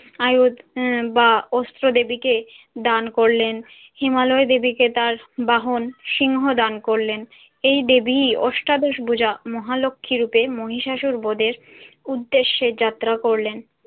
আয়ু আহ বা অস্ত্র দেবীকে দান করলেন। হিমালয় দেবীকে তার বাহন সিংহ দান করলেন। এই দেবী অষ্টাদশ ভুজা মহালক্ষীরূপে মহিষাসুর বদের উদ্দেশ্যে যাত্রা করলেন।